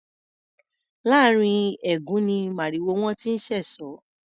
Láàrín ẹ̀gún ni màrìwó wọn ti ń ṣẹ̀sọ́.